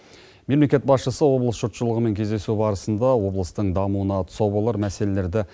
мемлекет басшысы облыс жұртшылығымен кездесу барысында облыстың дамуына тұсау болар мәселелерді